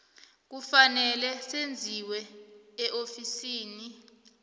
kufanele zenziwe eofisini